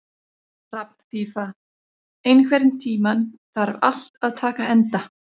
Hrafnfífa, einhvern tímann þarf allt að taka enda.